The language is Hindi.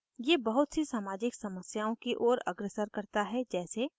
ये बहुत सी सामाजिक समस्याओं की ओर अग्रसर करता है जैसे: